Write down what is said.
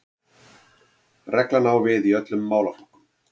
Reglan á við í öllum málaflokkum